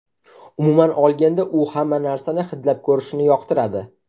Umuman olganda, u hamma narsani hidlab ko‘rishni yoqtiradi.